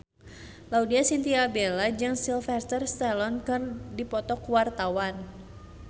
Laudya Chintya Bella jeung Sylvester Stallone keur dipoto ku wartawan